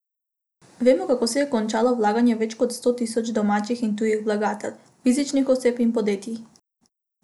Vemo, kako se je končalo vlaganje več kot sto tisoč domačih in tujih vlagateljev, fizičnih oseb in podjetij.